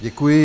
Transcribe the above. Děkuji.